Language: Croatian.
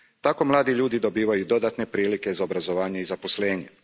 Tako mladi ljudi dobivaju dodatne prilike za obrazovanje i zaposlenje.